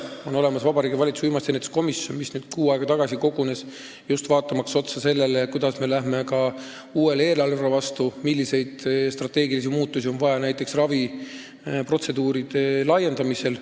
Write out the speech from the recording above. On olemas Vabariigi Valitsuse uimastiennetuse komisjon, mis kuu aega tagasi kogunes, just vaatamaks üle seda, kuidas me läheme vastu uuele eelarvele ja milliseid strateegilisi muutusi on vaja näiteks raviprotseduuride valiku laiendamisel.